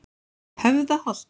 Höfðaholti